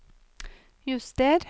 juster